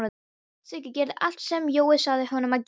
Siggi gerði allt sem Jói sagði honum að gera.